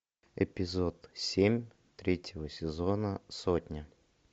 эпизод семь третьего сезона сотня